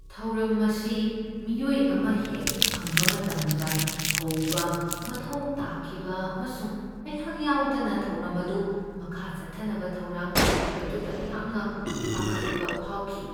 ꯊꯧꯔꯝ ꯑꯁꯤ ꯃꯤꯑꯣꯏ ꯑꯃ ꯍꯦꯛ ꯐꯪꯕ ꯃꯇꯝꯗ ꯍꯧꯕ ꯃꯊꯧ ꯇꯥꯈꯤꯕ ꯑꯃꯁꯨꯡ ꯑꯩꯍꯥꯛ ꯌꯥꯎꯗꯅ ꯊꯧꯔꯝ ꯑꯗꯨ ꯃꯈꯥ ꯆꯠꯊꯅꯕ ꯊꯧꯔꯥꯡ ꯇꯧꯈꯤꯕ ꯑꯗꯨꯗ ꯑꯩꯍꯥꯛꯅ ꯄꯥꯈꯠꯄ ꯐꯥꯎꯈꯤ ꯫